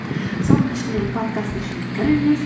соның ішінен подкасттың ішіне кіріңіз